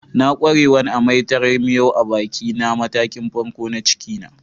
N'na kwarewan amai da taran miyo a'baki a matakin farko na ciki na.